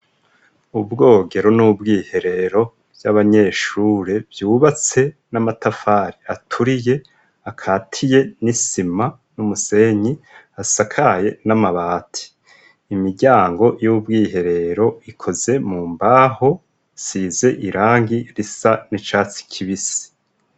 Ubwogero n'ubwiherero vy'abanyeshure vyubatse n'amatafari aturiye akatiye n'isima n'umusenyi asakaye n'amabati imiryango y'ubwiherero ikoze mu mbaho size irangi risa n'icatsi kibisa.